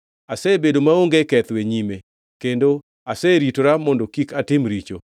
Asebedo maonge ketho e nyime, kendo aseritora mondo kik atim richo.